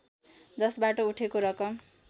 जसबाट उठेको रकम